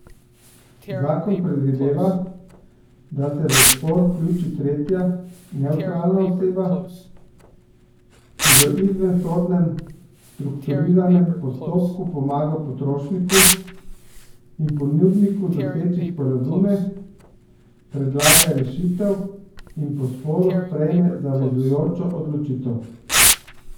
Zakon predvideva, da se v spor vključi tretja, nevtralna oseba, ki v izvensodnem, strukturiranem postopku pomaga potrošniku in ponudniku doseči sporazume, predlaga rešitev in po sporu sprejme zavezujočo odločitev.